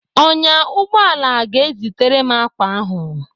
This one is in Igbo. Ọnyá ụgbọala ga-ezitere m ákwà ahụ.